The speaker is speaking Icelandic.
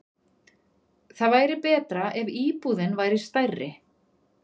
Það væri betra ef íbúðin væri stærri.